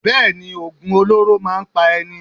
Bẹ́ẹ̀ni, Ògùn olóró máa ń pa ẹni.